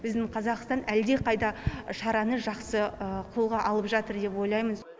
біздің қазақстан әлдеқайда шараны жақсы қолға алып жатыр деп ойлаймыз